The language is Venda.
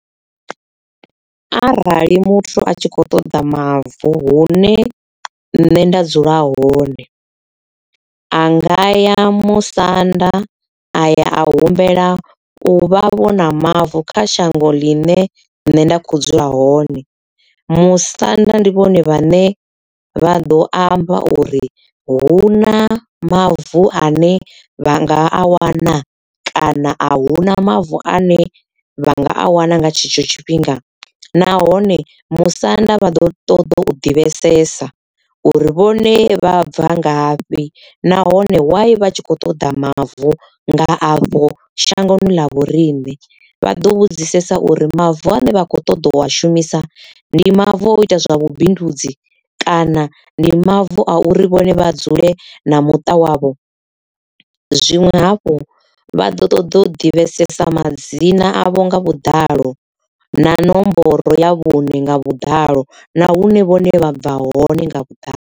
Arali muthu a tshi kho ṱoḓa mavu hune nṋe nda dzula hone.A nga ya musanda aya a humbela u vhavho na mavu kha shango ḽine nṋe nda kho dzula hone. Musanda ndi vhone vhane vha ḓo amba uri hu na mavu ane vha nga a wana kana ahuna mavu ane vhanga a wana nga tshetsho tshifhinga nahone musanda vha ḓo ṱoḓa u divhesesa uri vhone vha bva ngafhi nahone why vha tshi kho ṱoḓa mavu nga avho shangoni ḽa vhoriṋe vha ḓo vhudzisesa uri mavu ane vha khou ṱoḓa wa shumisa ndi mavu o ita zwa vhubindudzi kana ndi mavu a uri vhone vha dzule na muṱa wavho zwinwe hafhu vha ḓo ṱoḓa u divhesesa madzina avho nga vhuḓalo na nomboro ya vhuṋe nga vhuḓalo na hune vhone vha bva hone nga vhuḓalo.